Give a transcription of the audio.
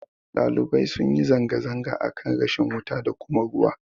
Ɗalibai sunyi zanga-zanga akan rashin wuta da kuma ruwa